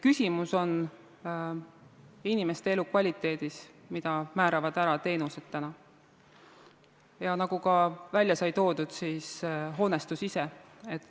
Küsimus on inimeste elukvaliteedis, mille määravad täna ära teenused, ja nagu välja sai toodud, hoonestus ise.